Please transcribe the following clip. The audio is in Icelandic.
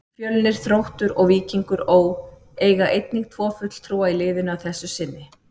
Fjölnir, Þróttur og Víkingur Ó. eiga einnig tvo fulltrúa í liðinu að þessu sinni.